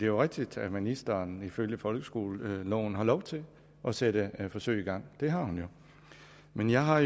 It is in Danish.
jo rigtigt at ministeren ifølge folkeskoleloven har lov til at sætte forsøg i gang det har hun jo men jeg har